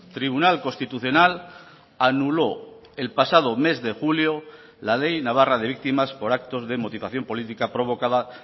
tribunal constitucional anuló el pasado mes de julio la ley navarra de víctimas por actos de motivación política provocada